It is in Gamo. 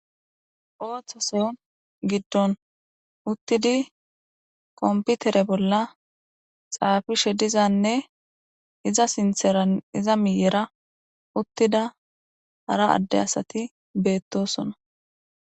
Oththoson giddon uttidi komputere bolla xaafishe dizanne iza sintheran iza miyera uttida hara adde asati beettosona.